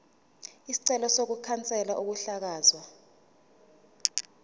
isicelo sokukhanselwa kokuhlakazwa